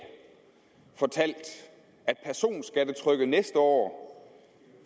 fortalt at personskattetrykket næste år